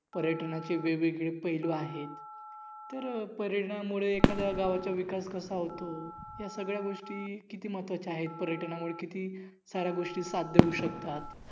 पर्यटनाचे वेगवेगळे पैलू आहेत. तर पर्यटनामुळे एखाद्या गावाचा विकास कसा होतो या सगळ्या गोष्टी किती महत्वाच्या आहेत. पर्यटनामुळे किती साऱ्या गोष्टी साध्य होउ शकतात.